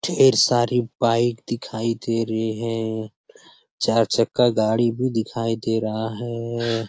ढ़ेर सारी बाइक दिखाई दे रही है। चार चक्का गाड़ी भी दिखाई दे रहा है।